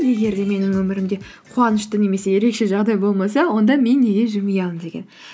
егер де менің өмірімде қуанышты немесе ерекше жағдай болмаса онда мен неге жымиямын деген